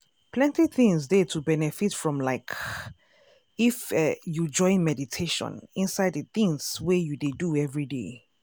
plenty things dey to benefit from like if you join meditation inside de tins wey you dey do everyday.